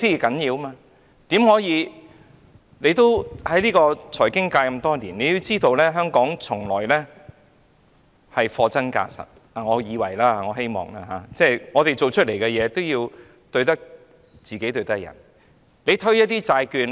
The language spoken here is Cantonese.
局長在財經界多年，他也知道香港一向是貨真價實——我以為或我希望是這樣——我們所做的工作，對得起自己，也要對得起別人。